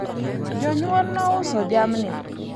jonyuol nouso jamni